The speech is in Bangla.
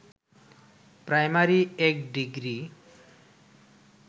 primary ১ degree